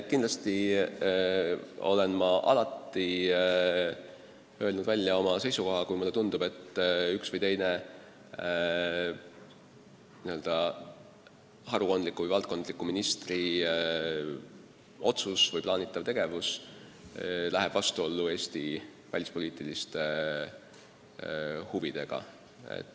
Kindlasti olen ma alati öelnud välja oma seisukoha, kui mulle tundub, et üks või teine valdkonnaministri otsus või plaanitav tegevus läheb vastuollu Eesti välispoliitiliste huvidega.